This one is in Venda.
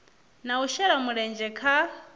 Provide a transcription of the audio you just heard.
na u shela mulenzhe kha